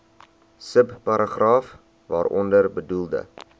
subparagraaf waaronder bedoelde